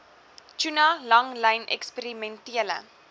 tuna langlyn eksperimentele